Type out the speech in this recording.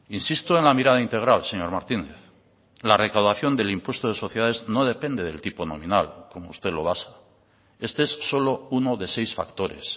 insisto en la mirada integral señor martínez la recaudación del impuesto de sociedades no depende del tipo nominal como usted lo basa este es solo uno de seis factores